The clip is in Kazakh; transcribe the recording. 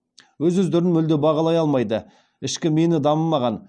өз өздерін мүлде бағалай алмайды ішкі мені дамымаған